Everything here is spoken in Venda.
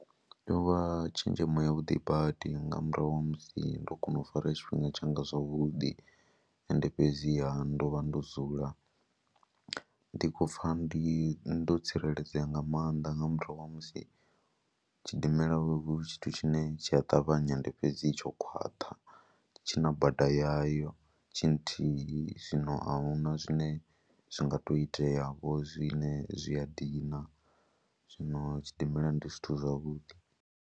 Yo vha tshenzhemo yavhuḓi badi nga murahu ha musi ndo kona u fara tshifhinga tshanga zwavhuḓi ende fhedziha ndo vha ndo dzula ndi khou pfha ndi ndo tsireledzea nga maanḓa nga murahu ha musi tshidimela hu tshithu tshine tshi a ṱavhanya, ende fhedzi tsho khwaṱha, tshi na bada yayo tshi nthihi. Zwino a hu na zwine zwi nga tou iteavho zwine zwi a dina, zwino tshidimela ndi zwithu zwavhuḓi.